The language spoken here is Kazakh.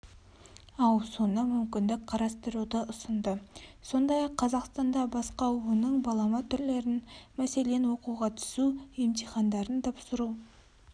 ауысуына мүмкіндік қарастыруды ұсынды сондай-ақ қазақстанда басқа оның балама түрлерін мәселен оқуға түсу емтихандарын тапсыру